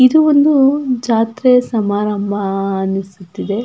ಇದು ಒಂದು ಜಾತ್ರೆ ಸಮಾರಂಭ ಅಹ್ ಅಹ್ ಅನಿಸುತ್ತಿದೆ .